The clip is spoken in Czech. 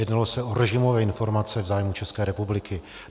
Jednalo se o režimové informace v zájmu České republiky.